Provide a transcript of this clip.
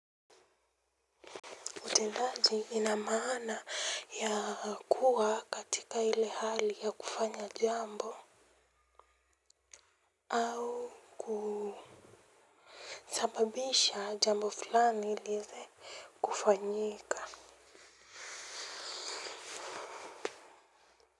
Utendaji ina maana ya kuwa katika ile hali ya kufanya jambo au kusababisha jambo fulani ili iweze kufanyika.